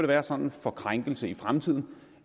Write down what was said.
være sådan for krænkelse i fremtiden